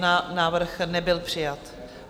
Návrh nebyl přijat.